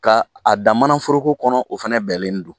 Ka a dan manaforoko kɔnɔ o fɛnɛ bɛɛlen don.